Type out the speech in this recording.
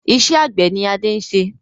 Iṣẹ́ àgbẹ̀ ni Adé ń ṣe